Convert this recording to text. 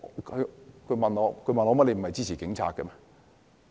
他們問我：你不是支持警察嗎？